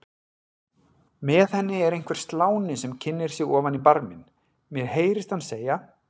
Með henni er einhver sláni sem kynnir sig ofan í barminn, mér heyrist hann segja